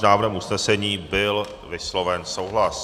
S návrhem usnesení byl vysloven souhlas.